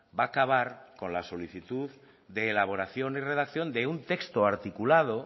va a acabar con la solicitud de elaboración y redacción de un texto articulado